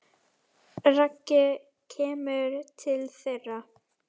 Raggi kemur til þeirra.